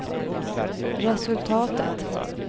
resultatet